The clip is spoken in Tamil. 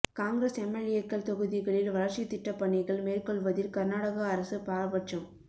காங்கிரஸ் எம்எல்ஏக்கள் தொகுதிகளில் வளர்ச்சித் திட்டப் பணிகள் மேற்கொள்வதில் கர்நாடக அரசு பாரபட்சம்